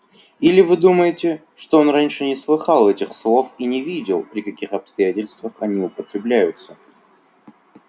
или вы думаете что он раньше не слыхал этих слов и не видел при каких обстоятельствах они употребляются